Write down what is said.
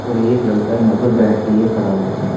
और एक लड़का यहां पर बैट लिए खड़ा हुआ है।